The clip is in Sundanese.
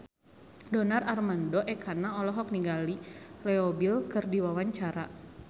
Donar Armando Ekana olohok ningali Leo Bill keur diwawancara